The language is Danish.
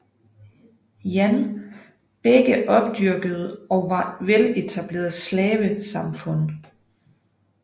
Jan begge opdyrkede og var veletablerede slavesamfund